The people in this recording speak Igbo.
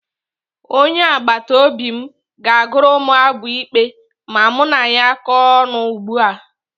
Onye agbataobi m ga-agụrụ m abụ ikpe ma mụ na ya kọọ ọnụ ugbu a.